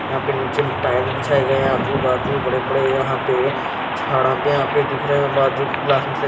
यहां पे नीचे टायर्स बिछाए गए हैं आजू-बाजू बड़े-बड़े यहां पे झाड़ा पे यहां पे दिख रहे हैं बाजू क्लास में--